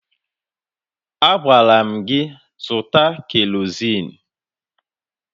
Agwara m gị zụta kerozin!